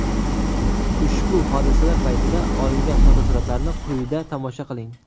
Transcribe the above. Ushbu hodisalar paytida olingan fotosuratlarni quyida tomosha qiling.